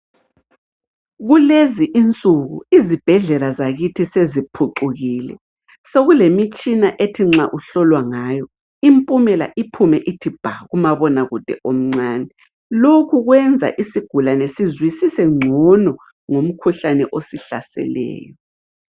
Kulezi insuku izibhedlela zakithi seziphucukile sokulemitshina ethi nxa uhlolwa ngayo impumela iphume ithi bha, kumabonakude omncane lokhu kwenza isigulane sizwisise ngcono ngomkhuhlane osihlaseleyo.